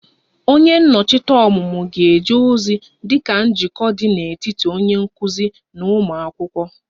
Onye nnọchi anya ọmụmụ ga-eje ozi dị ka njikọ dị n'etiti onye nkuzi na ụmụ akwụkwọ